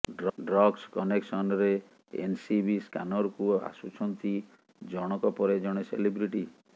drugs କନେକ୍ସନରେ NCB ସ୍କାନରକୁ ଆସୁଛନ୍ତି ଜଣଙ୍କ ପରେ ଜଣେ ସେଲିବ୍ରିଟି